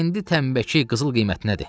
İndi təmbəki qızıl qiymətinədir.